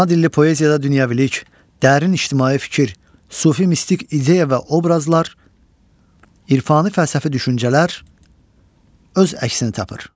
Ana dilli poeziyada dünyəvilik, dərin ictimai fikir, sufi mistik ideya və obrazlar, irfani-fəlsəfi düşüncələr öz əksini tapır.